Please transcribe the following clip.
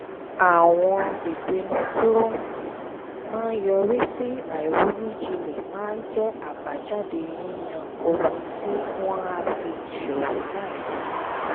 àwọn ìpinnu tó um máa yọrí sí àìronú jinlẹ̀ máa jẹ́ àbájáde yíyan ohun tí wọ́n á fi ṣòwò láìronú